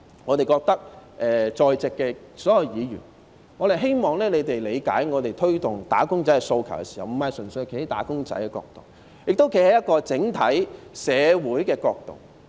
我們亦希望在席的所有議員理解，我們在推動"打工仔"的訴求時，並非純粹站在"打工仔"的角度，同時亦站在整體社會的角度。